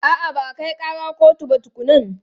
A'a, ba a kai ƙara kotu ba tukunnan.